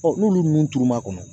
n'olu turu ma kɔnɔ